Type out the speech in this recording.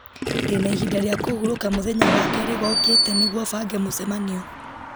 ndĩna ihinda rĩa kũhurũka mũthenya wa kerĩ gookĩte nĩguo bange mũcemanio